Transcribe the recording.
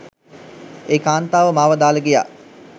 ඒ කාන්තාව මාව දාලා ගියා